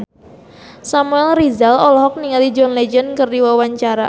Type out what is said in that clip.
Samuel Rizal olohok ningali John Legend keur diwawancara